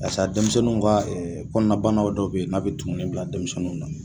Barisa denmisɛnninw ka ɛ kɔnɔnabana dɔw be yen n'a be tumuni bila denmisɛnnuw na